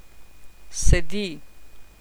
Sedi.